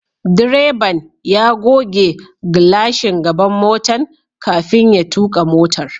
Direban ya goge glashin gaban motan kafin ya tuka motar.